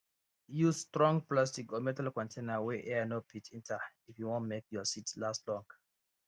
use strong plastic or metal container wey air no fit enter if you wan make your seeds last long